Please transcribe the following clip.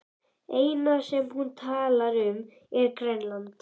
Það eina sem hún talar um er Grænland.